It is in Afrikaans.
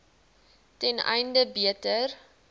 ten einde beter